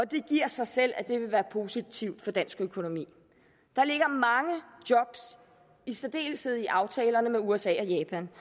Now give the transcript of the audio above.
det giver sig selv at det vil være positivt for dansk økonomi der ligger mange job i særdeleshed i aftalerne med usa og japan